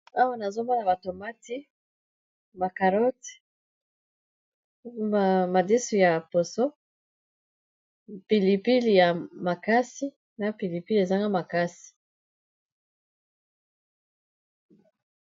awa nazomona batomati macarot madisu ya poso pilipili ya makasi na pilipili ezanga makasi